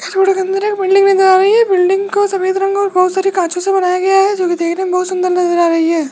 इस फोटो के अंदर एक बिल्डिंग नजर आ रही है बिल्डिंग को सफेद रंग और बहोत सारे कांचों से बनाया गया है जोकि देखने में बहोत सुंदर नजर आ रही है।